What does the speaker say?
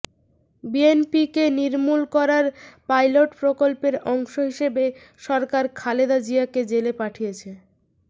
বিএনপিকে নির্মূল করার পাইলট প্রকল্পের অংশ হিসেবে সরকার খালেদা জিয়াকে জেলে পাঠিয়েছে